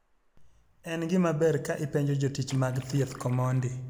En gimaber ka ipenjo jotich mag thieth komondi.